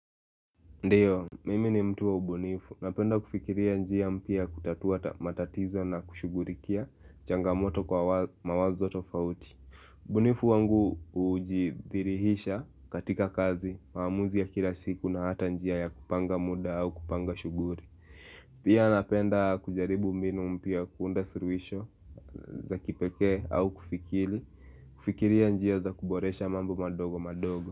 Ndiyo, mimi ni mtu wa ubunifu, napenda kufikiria njia mpya kutatua matatizo na kushugulikia changamoto kwa mawazo tofauti ubunifu wangu hujidhirihisha katika kazi, maamuzi ya kila siku na hata njia ya kupanga muda au kupanga shughuli Pia napenda kujaribu mbinu mpya, kuunda suluhisho za kipekee au kufikiri, kufikiria njia za kuboresha mambo madogo madogo.